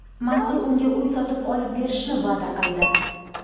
Mansur unga uy sotib olib berishni va’da qildi.